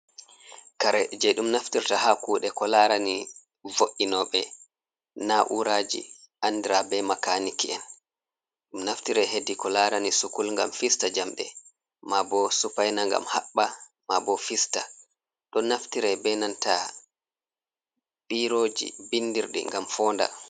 kare je ɗum naftirta ha kuɗe ko larani vo’’inoɓe na uraji andira be makaniki'en, ɗum naftire hedi ko larani sukul ngam fista njamde, ma bo supaina ngam haɓɓa, ma bo fista, ɗon naftire be nanta biroji bindirɗi ngam foonda.